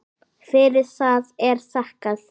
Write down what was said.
Fyrir það er þakkað.